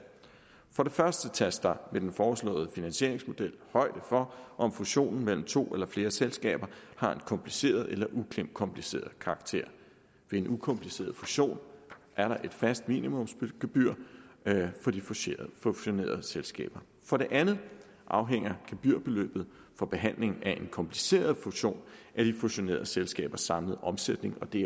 for det første tages der ved den foreslåede finansieringsmodel højde for om fusionen mellem to eller flere selskaber har en kompliceret eller ukompliceret karakter ved en ukompliceret fusion er der et fast minimumsgebyr for de fusionerede selskaber for det andet afhænger gebyrbeløbet for behandling af en kompliceret fusion af de fusionerede selskabers samlede omsætning og det